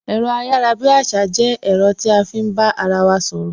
Ẹ̀rọ ayarabiasa jẹ́ ẹ̀rọ tí a fi ń bá ara wa sọ̀rọ̀